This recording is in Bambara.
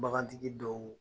Bagantigi dɔw